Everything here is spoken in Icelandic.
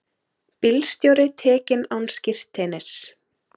Bílstjóri tekinn án skírteinis